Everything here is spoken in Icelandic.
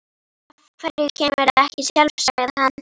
Af hverju kemurðu ekki sjálf? sagði hann.